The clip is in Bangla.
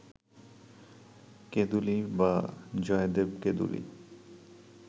কেঁদুলী বা জয়দেব-কেঁদুলী